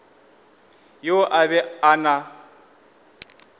yoo o be a na